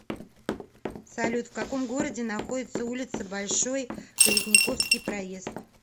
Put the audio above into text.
салют в каком городе находится улица большой калитниковский проезд